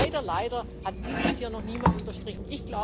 Und leider, leider hat dies hier noch niemand unterstrichen.